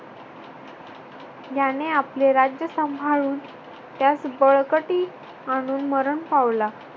याने आपले राज्य सांभाळून त्यास बळकटी आणून मरण पावला.